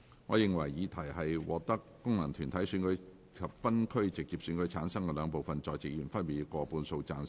我認為議題獲得功能團體選舉及分區直選產生的兩部分在席議員，分別過半數贊成。